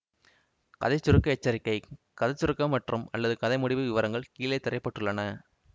கதை சுருக்க எச்சரிக்கை கதை சுருக்கம் மற்றும்அல்லது கதை முடிவு விவரங்கள் கீழே திரைப்பட்டுள்ளன